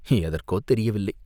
எதற்கோ தெரியவில்லை!